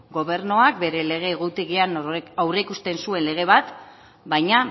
gobernuak bere lege egutegian aurreikusten zuen lege bat baina